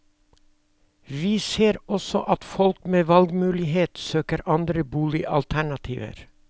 Vi ser også at folk med valgmulighet søker andre boligalternativer.